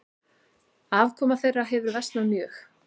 Afkoma þeirra hefur versnað mjög.